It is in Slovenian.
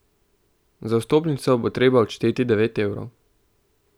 Za vstopnico bo treba odšteti devet evrov.